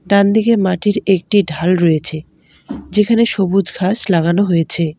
ডানদিকের মাটির একটি ঢাল রয়েছে যেখানে সবুজ ঘাস লাগানো হয়েছে।